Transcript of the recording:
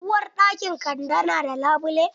Uwarɗakin kande na da labule?